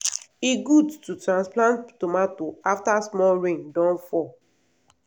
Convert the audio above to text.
e good to transplant tomato after small rain don fall.